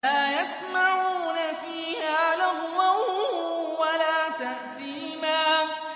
لَا يَسْمَعُونَ فِيهَا لَغْوًا وَلَا تَأْثِيمًا